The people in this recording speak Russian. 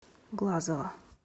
глазова